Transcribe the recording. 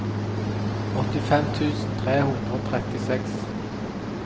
åttifem tusen tre hundre og trettiseks